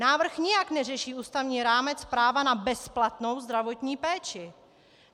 Návrh nijak neřeší ústavní rámec práva na bezplatnou zdravotní péči.